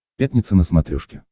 пятница на смотрешке